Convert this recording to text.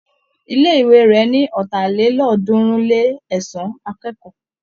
Ilé-ìwé rẹ̀ ní ọ̀tàlélọ́ọ̀ọ́dúnrún-lé-ẹ̀sán akẹ́kọ̀ọ́.